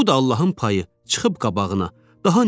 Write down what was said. Bax bu da Allahın payı çıxıb qabağına.